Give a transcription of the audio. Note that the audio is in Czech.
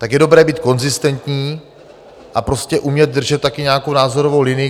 Tak je dobré být konzistentní a prostě umět držet také nějakou názorovou linii.